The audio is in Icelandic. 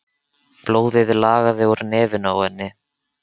Blóðið lagaði úr nefinu á henni.